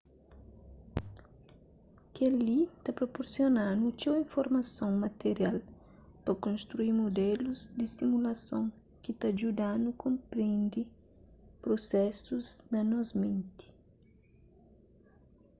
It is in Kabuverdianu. kel-li ta proporsiona-nu txeu informason material pa konstrui mudelus di simulason ki ta djuda-nu konprende prusesus na nos menti